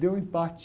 Deu empate.